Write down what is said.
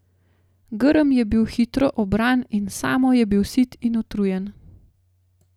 Grm je bil hitro obran in Samo je bil sit in utrujen.